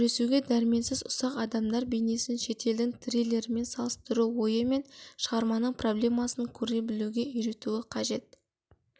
күресуге дәрменсіз ұсақ адамдар бейнесін шетелдің триллерімен салыстыру ойы мен шығарманың проблемасын көре білуге үйретуі қажет